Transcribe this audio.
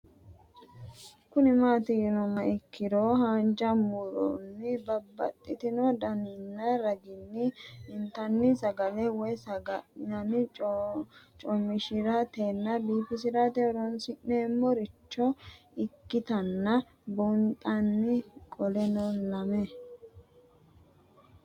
Kuni mati yinumoha ikiro hanja muroni babaxino daninina ragini intani sagale woyi sagali comishatenna bifisate horonsine'morich ikinota bunxana qoleno lame